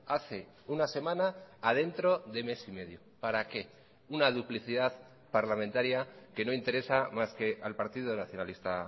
hace una semana a dentro de mes y medio para qué una duplicidad parlamentaria que no interesa más que al partido nacionalista